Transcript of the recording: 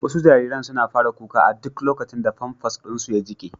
Wasu jariran suna fara kuka a duk lokacin da famfas ɗin su ya jike.